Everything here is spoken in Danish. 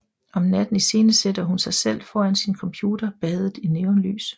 Om natten iscenesætter hun sig selv foran sin computer badet i neonlys